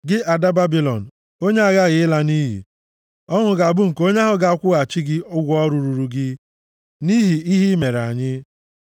Gị ada Babilọn, onye a ghaghị ịla nʼiyi, ọṅụ ga-abụ nke onye ahụ ga-akwụghachi gị ụgwọ ọrụ ruru gị nʼihi ihe i mere anyị,